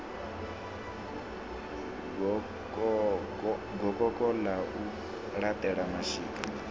gokoko ḽa u laṱela mashika